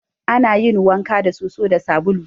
Ana yin wanka da soso da sabulu.